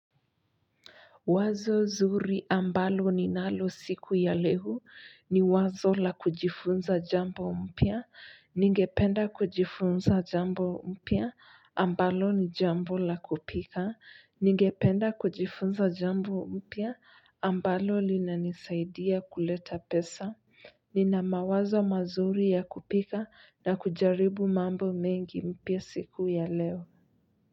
Wazo zuri ambalo ninalo siku ya leo ni wazo la kujifunza jambo mpya. Ningependa kujifunza jambo mpya ambalo ni jambo la kupika. Ningependa kujifunza jambo mpya ambalo linanisaidia kuleta pesa. Nina mawazo mazuri ya kupika na kujaribu mambo mengi mpya siku ya leo.